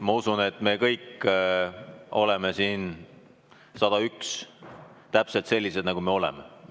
Ma usun, et me kõik 101 oleme siin täpselt sellised, nagu me oleme.